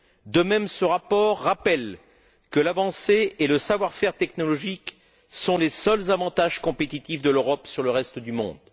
De même, ce rapport rappelle que l'avancée et le savoir faire technologique sont les seuls avantages compétitifs de l'Europe sur le reste du monde.